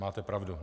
Máte pravdu.